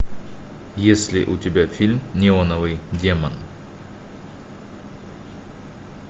есть ли у тебя фильм неоновый демон